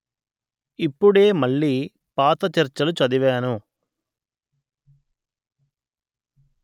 ఇప్పుడే మళ్ళీ పాత చర్చలు చదివాను